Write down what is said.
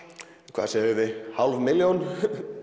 hvað segjum við hálf milljón